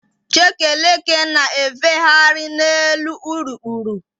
Chekeleke na-efegharị n'elu urukpuru.